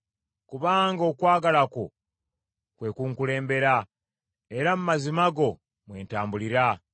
Kubanga okwagala kwo kwe kunkulembera, era mu mazima go mwe ntambulira.